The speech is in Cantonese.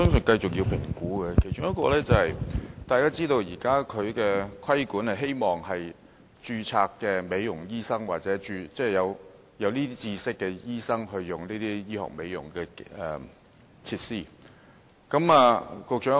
大家都知道，現時的規管是希望由註冊美容醫生，或有這方面知識的醫生操作這些醫學美容設施。